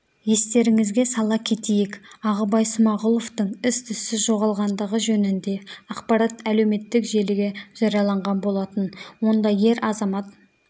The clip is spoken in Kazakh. естеріңізге сала кетейік ағыбай смагұловтың із-түссіз жоғалғандығы жөнінде ақпарат әлеуметтік желіге жарияланған болатын онда ер азамат